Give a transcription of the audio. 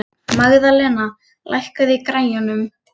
Magðalena, lækkaðu í græjunum.